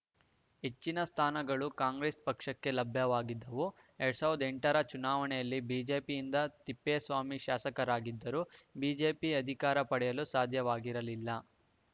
ಹೆಚ್ಚಿನ ಸ್ಥಾನಗಳು ಕಾಂಗ್ರೆಸ್‌ ಪಕ್ಷಕ್ಕೆ ಲಭ್ಯವಾಗಿದ್ದವು ಎರಡ್ ಸಾವಿರದ ಎಂಟರ ಚುನಾವಣೆಯಲ್ಲಿ ಬಿಜೆಪಿಯಿಂದ ತಿಪ್ಪೇಸ್ವಾಮಿ ಶಾಸಕರಾಗಿದ್ದರೂ ಬಿಜೆಪಿ ಅಧಿಕಾರ ಪಡೆಯಲು ಸಾಧ್ಯವಾಗಿರಲಿಲ್ಲ